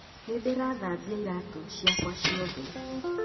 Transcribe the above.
Nĩndirathambia iraatũ ciakwa ciothe